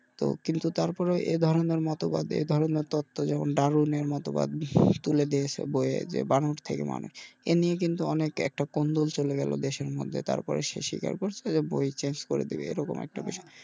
তো কিন্তু তারপরেও এ ধরনের মতবাদ এ ধরনের তত্ত যেমন ডারুনের মতো এ নিয়ে কিন্তু অনেক একটা কুন্দল চলে গেলো দেশের মধ্যে তারপরে সে স্বীকার করছে যে একটা বই change করে দেবে এমন একটা বিষয়।